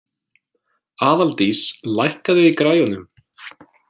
Aðaldís, lækkaðu í græjunum.